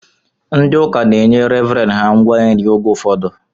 Ndị ụka na-enye revren ha ngwa nri oge ụfọdụ